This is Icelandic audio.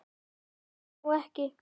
Hún svarar nú ekki.